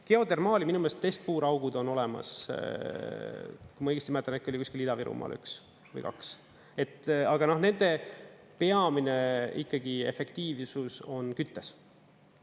Geodermaali, minu meelest, testpuuraugud on olemas, kui ma õigesti mäletan, äkki oli kuskil Ida-Virumaal üks või kaks, aga nende peamine ikkagi efektiivsus on küttes.